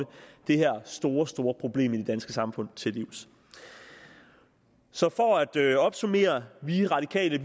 det her store store problem i det danske samfund til livs så for at opsummere vi radikale